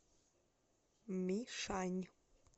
мишань